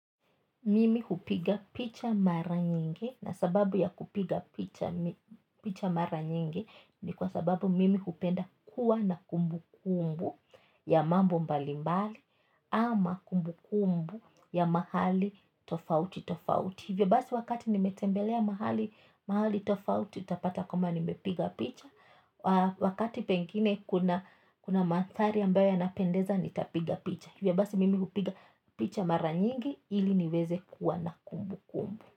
Mimi hupiga picha mara nyingi na sababu ya kupiga picha mara nyingi ni kwa sababu mimi hupenda kuwa na kumbukumbu ya mambo mbali mbali ama kumbukumbu ya mahali tofauti tofauti. Hivyo basi wakati nimetembelea mahali tofauti utapata kwamba nimepiga picha. Wakati pengine kuna mandhari ambayo yanapendeza nitapiga picha. Hivyo basi mimi hupiga picha mara nyingi ili niweze kuwa na kumbukumbu.